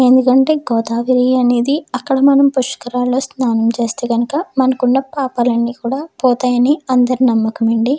ఎందుకంటే గోదావరి అనేది అక్కడ మనము పుష్కరాల్లో స్నానం చేస్తే గనుక మనకున్న పాపాలు అన్ని కూడ పోతాయని అందరి నమ్మకం అండి.